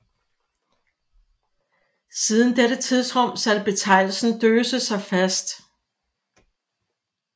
Siden dette tidsrum satte betegnelsen Döse sig fast